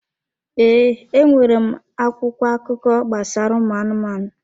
Ee, e nwere m akwụkwọ akụkọ gbasara ụmụ anụmanụ.